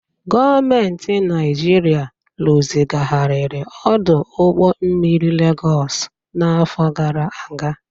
Gọọmentị Naịjirịa rụzigharịrị ọdụ ụgbọ mmiri Legọsi n'afọ gara aga.